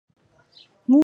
Mutuka ya pondu na pembe .